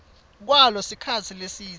kwalo sikhatsi lesidze